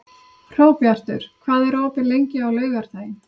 Hróbjartur, hvað er opið lengi á laugardaginn?